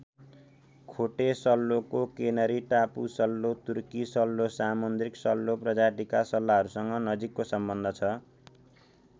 खोटे सल्लोको केनरी टापु सल्लो तुर्की सल्लो सामुन्द्रिक सल्लो प्रजातिका सल्लाहरूसँग नजिकको सम्बन्ध छ।